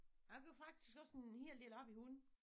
Jeg går faktisk også en hel del op i hunde